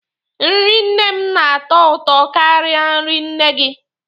Nrị nne m na-atọ ụtọ karịa nri nne gị.